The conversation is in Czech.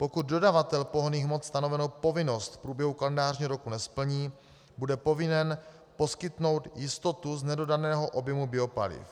Pokud dodavatel pohonných hmot stanovenou povinnost v průběhu kalendářního roku nesplní, bude povinen poskytnout jistotu z nedodaného objemu biopaliv.